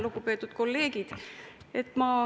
Lugupeetud kolleegid!